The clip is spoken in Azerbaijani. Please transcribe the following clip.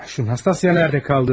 O Anastasiya harada qaldı?